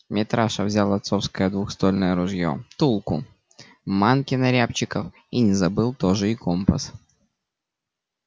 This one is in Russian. митраша взял отцовское двуствольное ружье тулку манки на рябчиков и не забыл тоже и компас